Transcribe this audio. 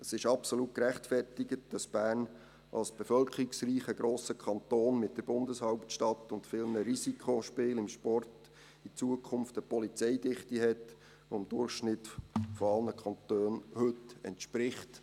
C. Es ist absolut gerechtfertigt, dass Bern als bevölkerungsreicher Kanton, mit der Bundeshauptstadt und vielen Risikospielen im Sport, in Zukunft eine Polizeidichte hat, die dem heutigen Durchschnitt aller Kantone entspricht.